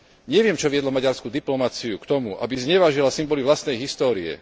Neviem, čo viedlo maďarskú diplomaciu k tomu, aby znevážila symboly vlastnej histórie.